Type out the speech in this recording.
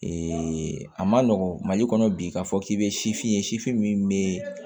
a ma nɔgɔn mali kɔnɔ bi k'a fɔ k'i bɛ sifin ye sifin min bɛ